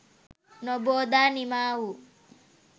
නොබෝදා නිමා වූ